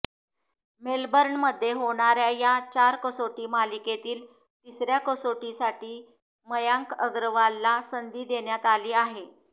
मेलबर्नमध्ये होणाऱ्या या चार कसोटी मालिकेतील तिसऱ्या कसोटीसाठी मयांक अग्रवालला संधी देण्यात आली आहे